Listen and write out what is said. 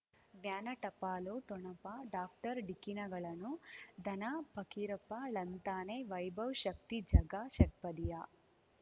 ಜ್ಞಾನ ಟಪಾಲು ಠೊಣಪ ಡಾಕ್ಟರ್ ಢಿಕ್ಕಿ ಣಗಳನು ಧನ ಫಕೀರಪ್ಪ ಳಂತಾನೆ ವೈಭವ್ ಶಕ್ತಿ ಝಗಾ ಷಟ್ಪದಿಯ